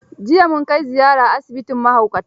Jiya mun kai ziyara asibitin mahaukata.